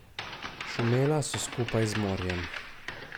Šumela so skupaj z morjem.